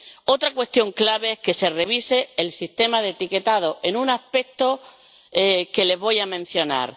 Otra cuestión clave es que se revise el sistema de etiquetado en un aspecto que les voy a mencionar.